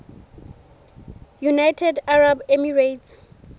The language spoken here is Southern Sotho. united arab emirates